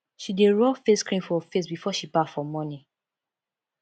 she dey rob face cream for face before she baff for morning